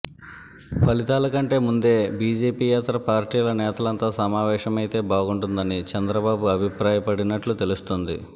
ఫలితాల కంటే ముందే బీజేపీయేతర పార్టీల నేతలంతా సమావేశమైతే బాగుంటుందని చంద్రబాబు అభిప్రాయపడినట్లు తెలుస్తోంది